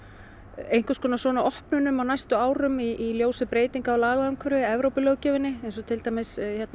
einhvers konar svona opnunum á næstu árum í ljósi breytinga á lagaumhverfi Evrópulöggjöfinni eins og til dæmis